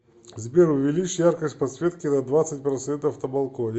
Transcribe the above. сбер увеличь яркость подсветки на двадцать процентов на балконе